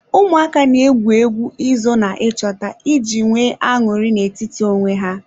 Ụmụaka na-egwu egwu izo na ịchọta iji nwee aṅụrị na-etiti onwe ya.